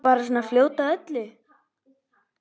Bara svona fljót að öllu.